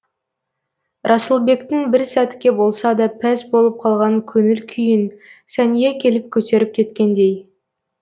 расылбектің бір сәтке болса да пәс болып қалған көңіл күйін сәния келіп көтеріп кеткендей